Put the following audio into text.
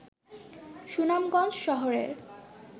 সুনামগঞ্জ শহরের